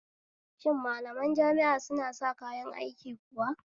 Shin malaman jami'a suna sa kayan aiki kuwa?